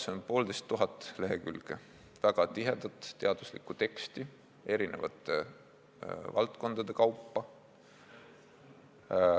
See on 1500 lehekülge väga tihedat teaduslikku teksti valdkondade kaupa.